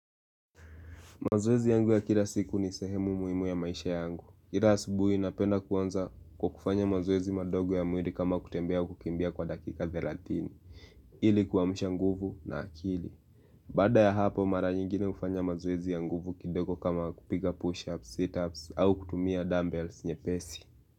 Mazoezi yangu ya kila siku ni sehemu muhimu ya maisha yangu. Ira subuhi napenda kuanza kwa kufanya mazoezi madogo ya muiri kama kutembea kukimbia kwa dakika thelathini. Ili kuwamusha nguvu na akili. Baada ya hapo mara nyingine ufanya mazoezi ya nguvu kidogo kama kupiga push-ups, sit-ups au kutumia dumbbells nyepesi.